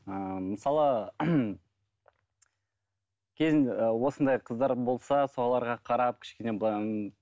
ыыы мысалы ыыы осындай қыздар болса соларға қарап кішкене былай